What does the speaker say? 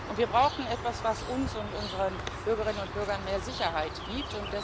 Und wir brauchten etwas, was uns und unseren Bürgerinnen und Bürgern mehr Sicherheit gibt.